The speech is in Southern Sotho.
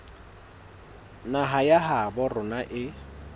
naha ya habo rona e